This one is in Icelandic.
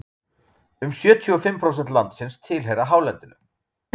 um sjötíu og fimm prósent landsins tilheyra hálendinu